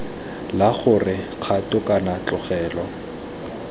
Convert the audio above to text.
la gore kgato kana tlogelo